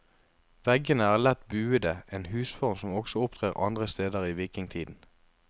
Veggene er lett buede, en husform som også opptrer andre steder i vikingtiden.